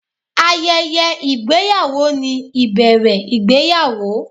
Ayẹyẹ ìgbéyàwó ni ìbẹ̀rẹ̀ ìgbéyàwó.